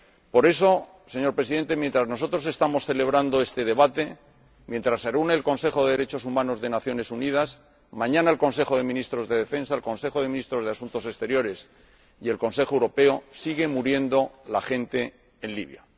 Por eso, señor Presidente, mientras nosotros estamos celebrando este debate, mientras se reúne el Consejo de Derechos Humanos de las Naciones Unidas y, mañana, el Consejo de Ministros de Defensa, el Consejo de Ministros de Asuntos Exteriores y el Consejo Europeo, sigue muriendo la gente en Libia.